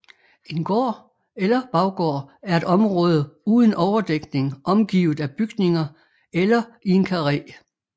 En gård eller baggård er et område uden overdækning omgivet af bygninger eller i en karré